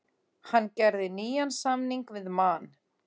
Hann gerði nýjan samning við Man.